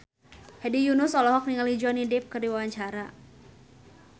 Hedi Yunus olohok ningali Johnny Depp keur diwawancara